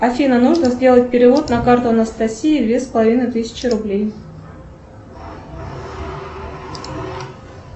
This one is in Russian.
афина нужно сделать перевод на карту анастасии две с половиной тысячи рублей